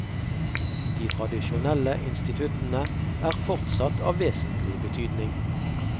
De tradisjonelle instituttene er fortsatt av vesentlig betydning.